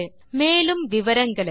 மேற்கொண்டு விவரங்கள் வலைத்தளத்தில் கிடைக்கும்